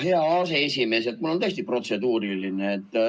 Jaa, hea aseesimees, mul on tõesti protseduuriline.